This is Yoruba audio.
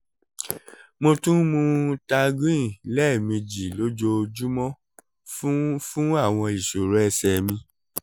mo tún ń mu targin lẹ́ẹ̀mejì lójoojúmọ́ fún fún àwọn ìṣòro ẹ̀sẹ̀ mi